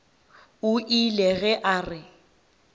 o ile ge a re